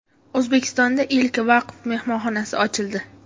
O‘zbekistonda ilk vaqf mehmonxonasi ochildi .